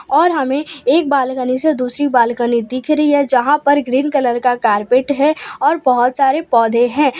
और हमें एक बालकनी से दूसरी बालकनी दिख रही है जहां पर ग्रीन कलर का कारपेट है और बहुत सारे पौधे हैं।